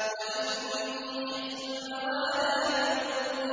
وَإِنِّي خِفْتُ الْمَوَالِيَ مِن وَرَائِي وَكَانَتِ